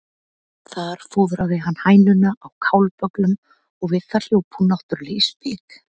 Þar fóðraði hann hænuna á kálbögglum og við það hljóp hún náttúrlega í spik.